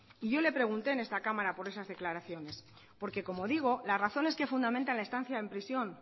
y yo le pregunté en esta cámara por esas declaraciones porque como digo las razones que fundamentan la estancia en prisión